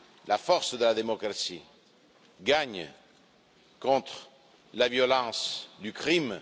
La force de la démocratie gagne contre la violence du crime.